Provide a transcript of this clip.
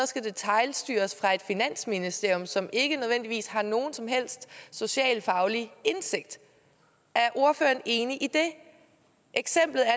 skal detailstyres fra et finansministerium som ikke nødvendigvis har nogen som helst socialfaglig indsigt er ordføreren enig i det eksemplet er